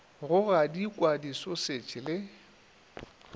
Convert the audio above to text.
go gadikwa di sausage le